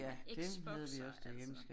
Xbox og alt sådan noget